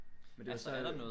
Men det var så i